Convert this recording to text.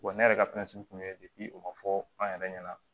Wa ne yɛrɛ ka kun ye o ma fɔ an yɛrɛ ɲɛna